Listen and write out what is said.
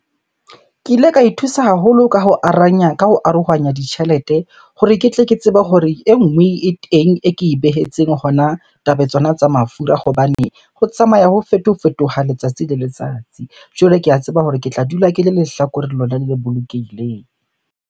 Ke ile ka ithusa haholo ka ho , ka ho arohanya ditjhelete hore ke tle ke tsebe hore e nngwe e teng e ke e behetseng hona taba tsona tsa mafura. Hobane ho tsamaya ho fetofetoha letsatsi le letsatsi. Jwale ke a tseba hore ke tla dula ke le lehlakore lona le bolokehileng.